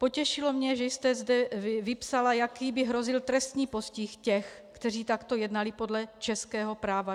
Potěšilo mě, že jste zde vypsala, jaký by hrozil trestní postih těch, kteří takto jednali podle českého práva.